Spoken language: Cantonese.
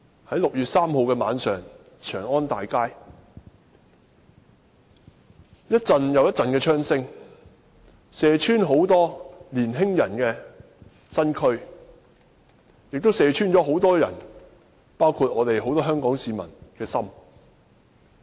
在6月3日晚上，長安大街響起一陣又一陣的槍聲，射穿眾多年青人的身軀，亦射穿了很多人，包括很多香港市民的心。